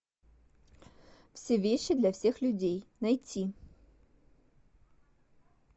все вещи для всех людей найти